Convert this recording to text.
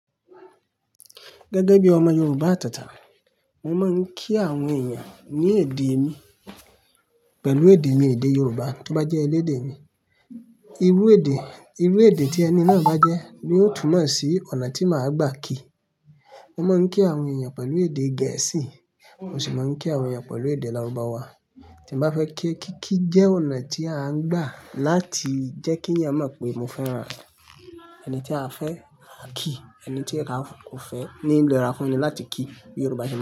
Gẹ́gẹ́ bí ọmọ Yorùbá àtẹ̀tẹ̀, mo máa ń kí àwọn èèyàn ní èdè mi pẹ̀lú èdè mi èdè Yorùbá tó bá jẹ́ elédè mi. Irú èdè, irú èdè tí ẹni náà bá jẹ́ ni ó túmọ̀ sí ọ̀nà tí màá gbà ki. Mo máa ń kí àwọn èèyàn pẹ̀lú èdè Gẹ̀ẹ́sì, mo sì máa ń kí àwọn èèyàn pẹ̀lú èdè larubawa. Tí mo bá fẹ́ kí, kí kí jẹ́ ọ̀nà tí a ń gbà láti jẹ́ kí èèyàn mọ̀ pé mo fẹ́ràn rẹ̀. Ẹni tí a fẹ́ a ki, ẹni tí ó fẹ́ ní lera fún ni láti kí. Yorùbá jẹ́